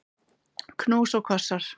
Knús og kossar.